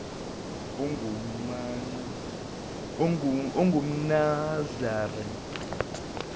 engumnaziri